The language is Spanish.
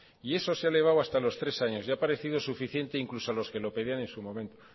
y eso se ha elevado hasta los tres años le ha parecido suficiente incluso a los que lo pedían en su momento